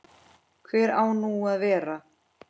Hvar á nú að vera?